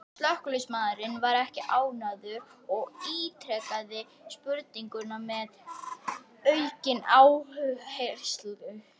Slökkviliðsmaðurinn var ekki ánægður og ítrekaði spurninguna með aukinn áherslu.